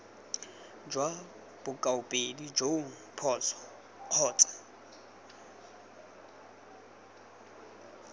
jwa bokaopedi joo phoso kgotsa